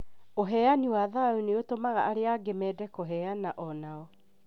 Ũheani wa thayũ nĩ ũtũmaga arĩa angĩ mende kũheana onao